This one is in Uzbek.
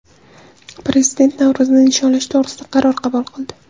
Prezident Navro‘zni nishonlash to‘g‘risida qaror qabul qildi.